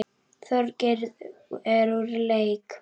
Þorgeir er úr leik.